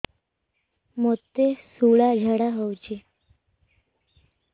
ମୋତେ ଶୂଳା ଝାଡ଼ା ହଉଚି